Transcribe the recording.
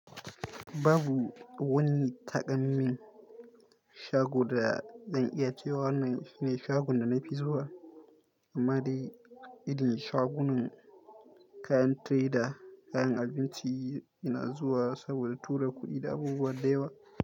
Babu wani takalmin shago da zan iya cewa wannan shine shagonta na fi zuwa. Amma dai idan shagunan kayan tire da kayan abinci ina zuwa saboda tura kuɗi da abubuwa da yawa.